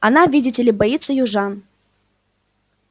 она видите ли боится южан